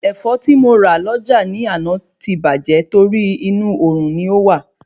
Ẹ̀fọ́ tí mo rà lọ́jà ni àná ti bàjé torí inú òrùn lọ́ wà